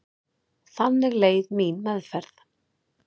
Þannig leið mín meðferð.